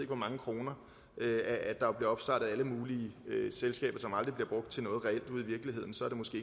hvor mange kroner at der bliver opstartet alle mulige selskaber som aldrig bliver brugt til noget reelt ude i virkeligheden